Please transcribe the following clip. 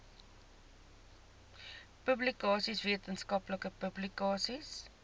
publikasies wetenskaplike publikasies